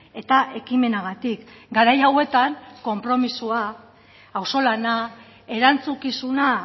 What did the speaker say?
eta ekimenagatik garai hauetan konpromisoa auzolana erantzukizuna